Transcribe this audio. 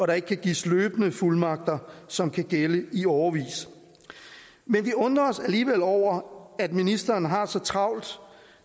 der ikke kan gives løbende fuldmagter som kan gælde i årevis men vi undrer os alligevel over at ministeren har så travlt